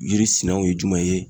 Yiri sinaw ye jumɛn ye?